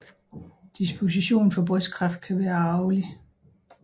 Disposition for brystkræft kan være arvelig